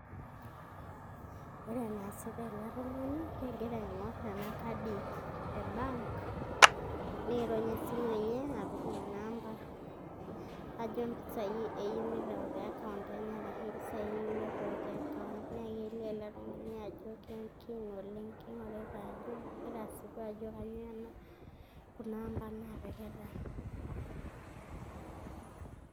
Ore enaasita ele tung'ani naa kegira aing'orr enkadi e bank niirony esimu enye apik nena amba ajo impisai eyieu nitau te account enye arashu impisai eyieu nirriwaki account. Naa kelio ele tung'ani ajo keen oleng', kegira asipu ajo kainyioo kuna amba naapikita.